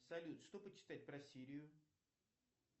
салют что почитать про сирию